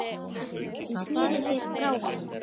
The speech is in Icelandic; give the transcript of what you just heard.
Hún sneri sér frá honum.